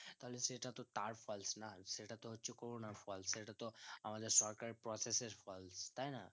তাহলে সেটা তো তার fault না সেটা তো হচ্ছে corona র Fault সেটা তো আমাদের সরকারে process এর fault তাই না